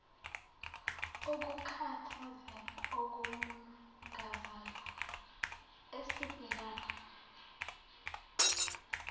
ukukhathazeka okumangazayo esibhekana